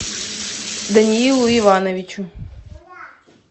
даниилу ивановичу